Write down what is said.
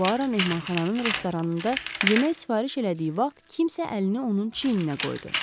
Puaro mehmanxananın restoranında yemək sifariş elədiyi vaxt kimsə əlini onun çiyninə qoydu.